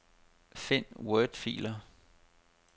Find wordfiler.